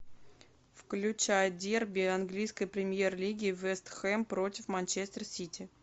включай дерби английской премьер лиги вест хэм против манчестер сити